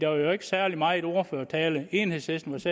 var der ikke særlig meget ordførertale enhedslistens